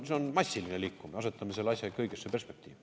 See on massiline liikumine, asetame selle asja ikka õigesse perspektiivi.